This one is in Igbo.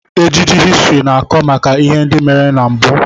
Ejije histrị na-akọ maka ihe ndị mere na mbụ.